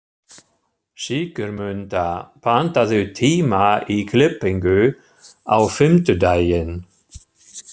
Sigurmunda, pantaðu tíma í klippingu á fimmtudaginn.